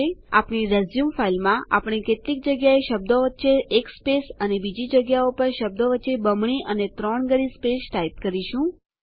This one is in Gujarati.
આપણી રિઝ્યુમ ફાઈલમાં આપણે કેટલીક જગ્યાએ શબ્દો વચ્ચે એક સ્પેસ ખાલી જગ્યા અને બીજી જગ્યાઓ પર શબ્દો વચ્ચે બમણી અને ત્રણગણી સ્પેસ ટાઈપ કરશું